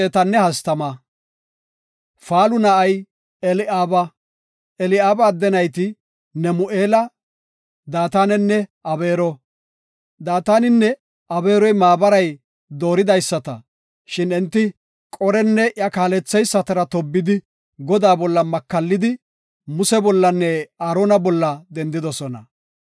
Eli7aaba adde nayti Nemu7eela, Daatanenne Abeero. Daataninne Abeeroy maabaray dooridaysata, shin enti Qorenne iya kaalleysatara tobbidi Godaa bolla makallidi Muse bollanne Aarona bolla dendidosona.